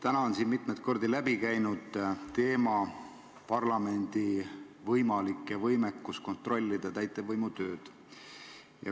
Täna on siin mitmeid kordi teemana läbi käinud parlamendi võimekus kontrollida täitevvõimu tööd.